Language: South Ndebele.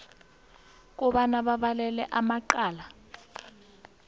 kobana balele amacala